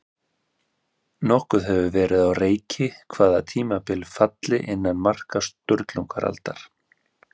Nokkuð hefur verið á reiki hvaða tímabil falli innan marka Sturlungaaldar.